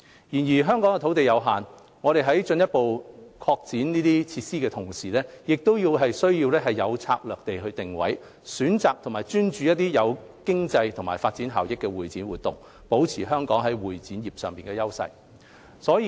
然而，香港土地有限，我們在進一步擴展設施的同時，亦更需要有策略地定位，選擇和專注一些具經濟和發展效益的會展活動，保持香港在會展業上的優勢。